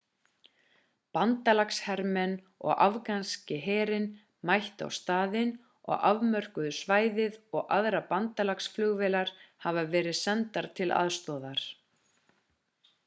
bandalagshermenn og afganski herinn mættu á staðinn og afmörkuðu svæðið og aðrar bandalagsflugvélar hafa verið sendar til aðstoðar